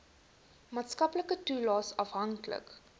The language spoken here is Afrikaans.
maatskaplike toelaes afhanklik